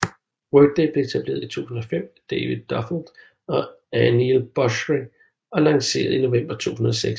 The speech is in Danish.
Workday blev etableret i 2005 af David Duffield og Aneel Bhusri og lanceret i november 2006